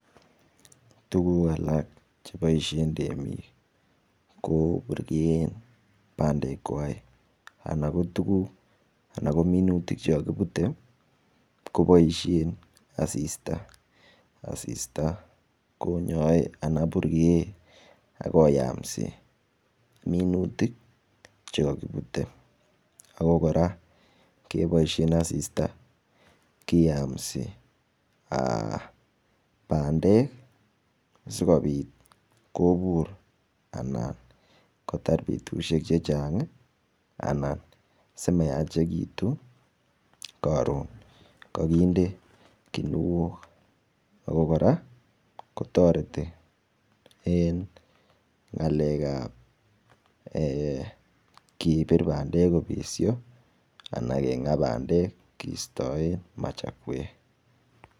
Tukuuk alak cheboishe temik ko burken pandek kwai anan ko tuguk anan ko minutik chikakipute koboisie asista, asista konyoe anan burkeen akoyamse minutik chikakiputei ako kora kepoishen asista kiyamse pandek sikopit kopur anan kotar betushek chechang anan simayachekitu karon kakinde kuniok ako kora kotoreti eng' ng'alek ap kepir pandek kopirokisho anan kenga pandek keistoen masakwek